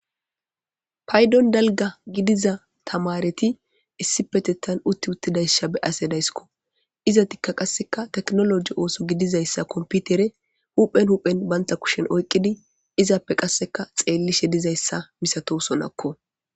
paydon dalga gidiza tamareti issi petetan utti uttidaysha be ase dayskko izatikka qasseka teknoloji ooso gidizayssa komputere huphen huphen baynta kushen oyqqidi izappe qasseka xeellishe dizayssa misato sonakko